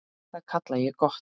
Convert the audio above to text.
Það kalla ég gott.